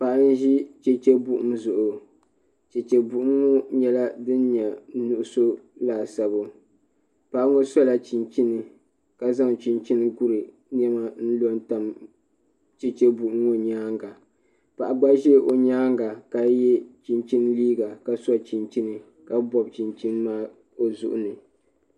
Paɣa n ʒi cheche buɣim zuɣu cheche buɣim ŋɔ nyɛla din nyɛ nuɣusu laasabu paɣa ŋɔ sɔla chinchini ka zaŋ chinchini n guri niɛma n lo tam cheche buɣim ŋɔ nyaanga paɣa gba ʒɛ o nyaanga ka yɛ chinchini liiga ka so chinchini ka bɔbi chinchini maa o zuɣu ni.